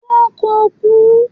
wọn ko ku